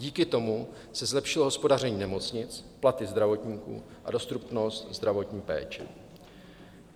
Díky tomu se zlepšilo hospodaření nemocnic, platy zdravotníků a dostupnost zdravotní péče.